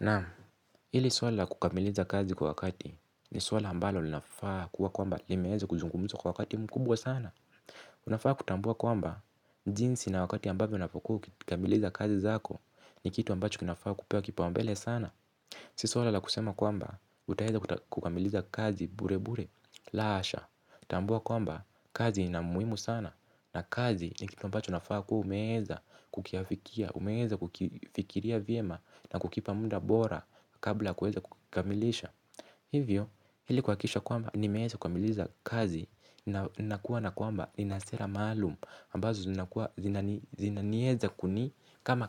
Naam hili swala kukamiliza kazi kwa wakati ni swala ambalo linafaa kuwa kwamba limeeza kuzungumzwa kwa wakati mkubwa sana. Unafaa kutambua kwamba jinsi na wakati ambavyo unapokuwa ukikamiliza kazi zako ni kitu ambacho kinafaa kupewa kipaumbele sana. Si swala la kusema kwamba utaeza kukamiliza kazi bure bure la hasha. Tambua kwamba kazi inamuhimu sana na kazi ni kitu ambacho unafaa kuwa umeeza kukiafikia, umeeza kukifikiria vyema na kukipa munda bora kabla kuweza kukamilisha. Hivyo ilikuakikisha kwamba nimeeza kumaliza kazi na kuwa na kwamba ninasera maalum ambazo zinanieza kuni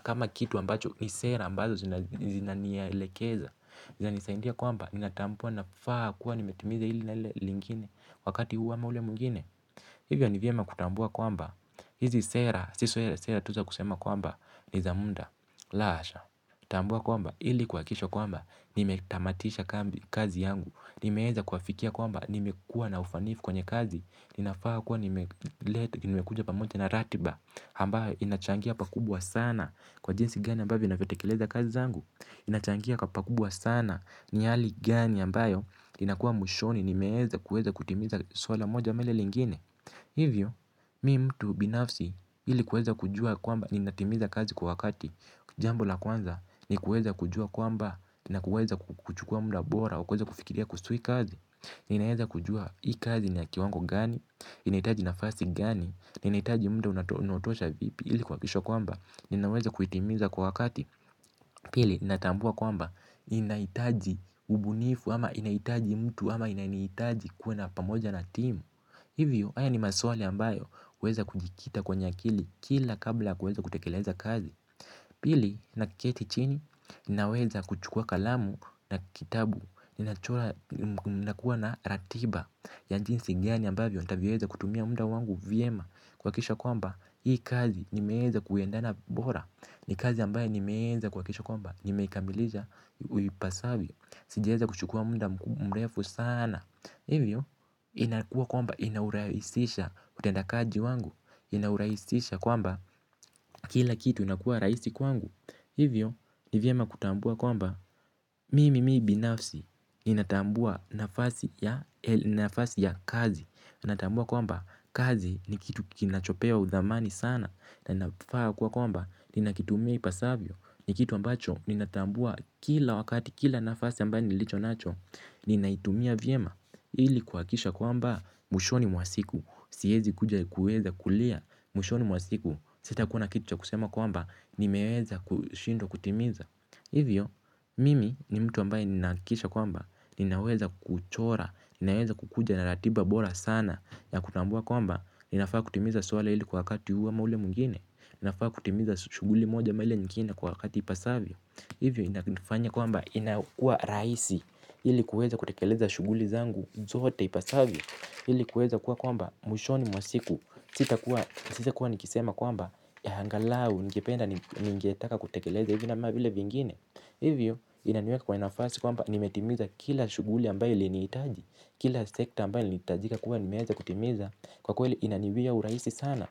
kama kitu ambacho ni sera ambazo zinanielekeza. Zanisaindia kwamba, ni natambua na faha kuwa nimetimiza ili na ili lingine wakati huu ama ule mwngine. Hivyo ni vyema kutambua kwamba, hizi sera, sio sera tu za kusema kwamba, nizamunda, la asha. Tambua kwamba, ili kuakisho kwamba, nimetamatisha kazi yangu. Nimeeza kuafikia kwamba, nimekuwa na ufanifu kwenye kazi, ninafaa kuwa nimekuja pamoja na ratiba ambayo inachangia pakubwa sana kwa jinsi gani ambavyo inavyotekeleza kazi zangu. Inachangia pakubwa sana ni hali gani ambayo inakua mwishoni nimeeza kutimiza swala moja ama lile lingine. Hivyo mi mtu binafsi ilikuweza kujua yakwamba ninatimiza kazi kwa wakati. Jambo la kwanza ni kuweza kujua kwamba na kuweza kuchukua muda bora wa kuweza kufikiria kuhusu hii kazi. Ninaeza kujua hii kazi ni ya kiwango gani? Inaitaji nafasi gani? Na inahitaji muda unaotosha vipi? Ili kuakikisha kwamba ninaweza kuitimiza kwa wakati. Pili natambua kwamba inahitaji ubunifu ama inahitaji mtu ama inanihitaji kuwe na pamoja na timu. Hivyo haya ni maswali ambayo uweza kujikita kwenye akili kila kabla yakuweza kutekeleza kazi. Pili naketi chini naweza kuchukua kalamu na kitabu ninakuwa na ratiba ya jinsi gani ambavyo ntavyeza kutumia muda wangu vyema kuakikisha kwamba hii kazi nimeeza kuendana bora. Ni kazi ambaye nimeeza kuakikisha kwamba nimeikamilisha uipasavyo. Sijaeza kuchukua muda mrefu sana. Hivyo inakua kwamba inauraihisha utendakaji wangu inauraisisha kwamba kila kitu inakua raisi kwamba hivyo ni vyema kutambua kwamba mii mimi binafsi ni natambua nafasi ya kazi. Natambua kwamba kazi ni kitu kinachopewa udhamani sana na nafaa kwa kwamba ninakitumia ipasavyo. Ni kitu ambacho ninatambua kila wakati kila nafasi ambaye nilicho nacho. Ninaitumia vyema ili kuhakikisha kwamba mwishoni mwa siku siezi kuja kuweza kulia mwishoni mwa siku. Sitakuwa na kitu cha kusema kwamba nimeweza kushindwa kutimiza. Hivyo, mimi ni mtu ambaye ninaakikisha kwamba ninaweza kuuchora, ninaweza kukuja na ratiba bora sana ya kutambua kwamba, ninafaa kutimiza swala ili kwa wakati huu ama ule mwingine. Ninafaa kutimiza shuguli moja ama ile nyingine kwa wakati ipasavyo. Hivyo inafanya kwamba inakua rahisi. Ili kuweza kutkeleza shuguli zangu zote ipasavyo. Ili kuweza kuwa kwamba mwishoni mwa siku sitakuwa, sitakuwa nikisema kwamba angalau nikipenda ningetaka kutekeleza hivi ama vile vingine. Hivyo inaniweka kwa nafasi kwamba nimetimiza kila shuguli ambayo iliniitaji. Kila sekta ambayo nilihitajika kuwa nimeweza kutimiza kwa kweli inaniwia uraisi sana.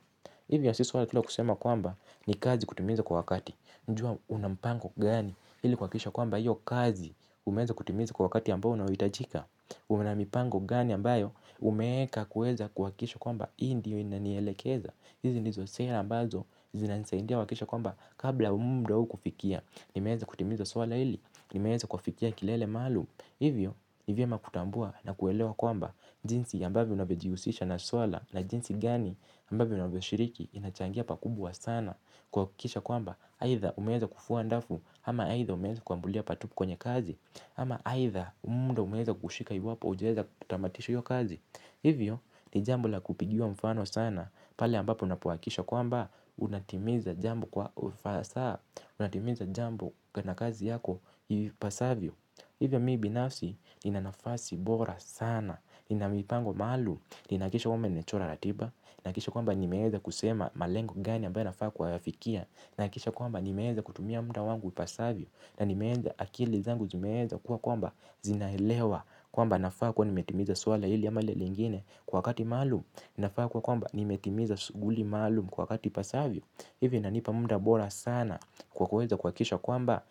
Hivyo si swala tu la kusema kwamba ni kazi kutimiza kwa wakati. Jua unampango gani ili kuhakikisha kwamba hiyo kazi umeweza kutimiza kwa wakati ambayo unaohitajika. Una mipango gani ambayo umeeka kuweza kuakikisha kwamba hii ndiyo inanielekeza. Hizi ndizo sera ambazo zinanisaidia kuakikisha kwamba kabla ya munda huu kufikia nimeeza kutimiza swala hili. Nimeeza kufikia kilele maalum. Hivyo ni vyema kutambua na kuelewa kwamba jinsi ambavyo unavyojihusisha na swala na jinsi gani ambavyo unavyoshiriki inachangia pakubwa sana. Kuakikisha kwamba aitha umeeza kufua ndafu ama aitha umeeza kuambulia patupu kwenye kazi ama aitha munda umeweza kukushika iwapo ujaweza kutamatisha io kazi. Hivyo ni jambo la kupigiwa mfano sana. Pale ambapo unapoakikisha kwamba unatimiza jambo kwa ufasaha unatimiza jambo kana kazi yako ipasavyo. Hivyo mi binafsi ninanafasi bora sana. Ninamipango maalum. Ninakikisha kwamba nimechora ratiba. Nakikisha kwamba nimeeza kusema malengo gani ambayo nafaa kwa yafikia. Nakikisha kwamba nimeeza kutumia muda wangu ipasavyo na nimeenza akili zangu zimeeza kuwa kwamba zinaelewa kwamba nafaa kuwa nimetimiza swala hili ama lile lingine kwa wakati maalum. Ninafaa kuwa kwamba nimetimiza suguli maalum kwa wakati ipasavyo. Hivi inanipa munda bora sana kwa kuweza kuakikisha kwamba.